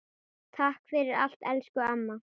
Takk fyrir allt, elsku amma.